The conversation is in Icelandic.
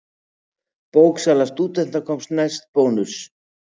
Bóksala stúdenta komst næst Bónus.